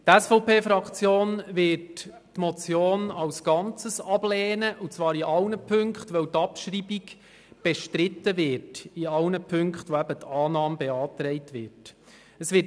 Die SVP-Fraktion wird die Motion in allen Punkten ablehnen, weil die Abschreibung in allen Punkten bestritten wird, bei denen die Annahme beantragt ist.